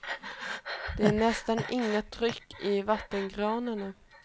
Det är nästan inget tryck i vattenkranarna.